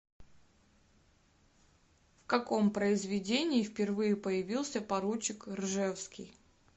в каком произведении впервые появился поручик ржевский